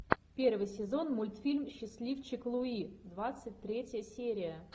первый сезон мультфильм счастливчик луи двадцать третья серия